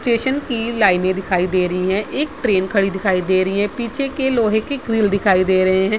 Station की लाइनें दिखाई दे रही है | एक ट्रेन खड़ी दिखाई दे रही है | पीछे के लोहे के ग्रिल दिखाई दे रहे हैं ।